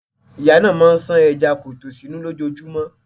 Ìyá náà máà ń ṣan ẹja kọtó sunún lójojúmọ́.